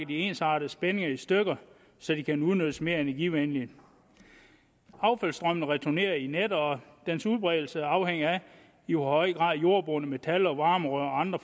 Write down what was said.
de ensartede spændinger i stykker så de kan udnyttes mere energivenligt affaldsstrømmen returneres gennem nettet og dens udbredelse afhænger af i hvor høj grad jordbundet metal varmerør og andre